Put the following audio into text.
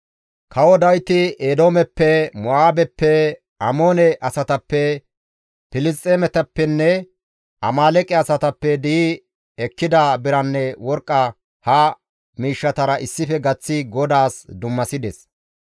Kawo Dawiti Eedoomeppe, Mo7aabeppe, Amoone asatappe, Filisxeemetappenne Amaaleeqe asatappe di7i ekkida biranne worqqa ha miishshatara issife gaththi GODAAS dummasides.